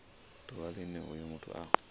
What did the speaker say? ḓuvha line hoyo muthu a